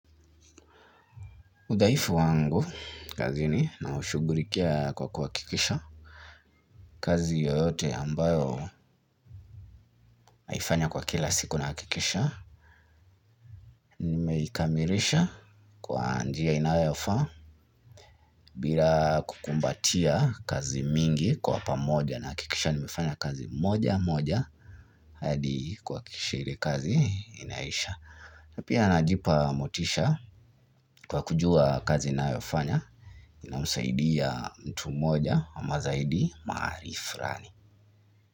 Udhaifu wangu kazini na ushughulikia kwa kuhakikisha kazi yoyote ambayo naifanya kwa kila siku nahakikisha nimeikamilisha kwa njia inayofaa. Bila kukumbatia kazi mingi kwa pamoja na hakikisha nimefanya kazi moja moja hadi kuhakikisha ile kazi inaisha. Napia najipa motisha kwa kujua kazi ninayofanya inamsaidia mtu moja ama zaidi mahali fulani.